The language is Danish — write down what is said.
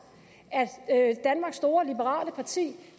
at danmarks store liberale parti